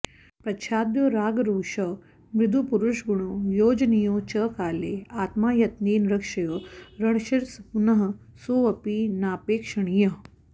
प्रच्छाद्यौ रागरोषौ मृदुपरुषगुणौ योजनीयौ च काले आत्मा यत्नेन रक्ष्यो रणशिरसिपुनःसोऽपि नापेक्षणीयः